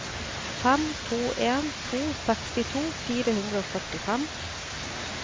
fem to en to sekstito fire hundre og førtifem